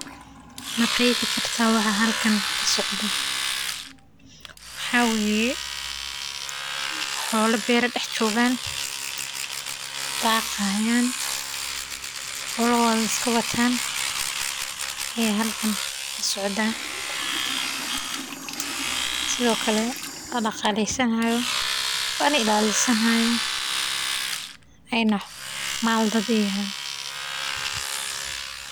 Ma qeexi kartaa waxa halkan kasocdo waxa waye xoola beera dex joogan daaqi haayan ayaa halkan kasocotaa sido kale la daqalesani haayo oona maal dad aay yihiin.